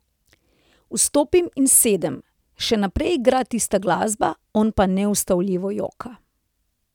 Vstopim in sedem, še naprej igra tista glasba, on pa neustavljivo joka.